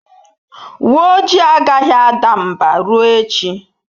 Uwe ojii agaghị ada mbà ruo echi.